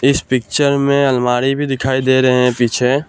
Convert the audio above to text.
इस पिक्चर में अलमारी भी दिखाई दे रहे हैं पीछे--